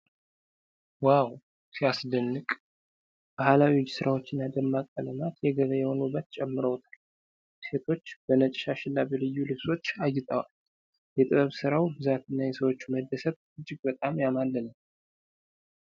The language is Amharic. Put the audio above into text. ዋው፣ ሲያስደንቅ! ባህላዊ የእጅ ስራዎችና ደማቅ ቀለማት የገበያውን ውበት ጨምረውታል። ሴቶች በነጭ ሻሽና በልዩ ልብሶች አጊጠዋል። የጥበብ ሥራው ብዛትና የሰዎቹ መደሰት እጅግ በጣም ያማልላል።